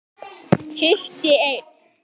Hitti einn.